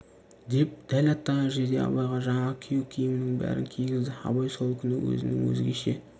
деп дәл аттанар жерде абайға жаңағы күйеу киімінің бәрін кигізді абай сол күні өзінің өзгеше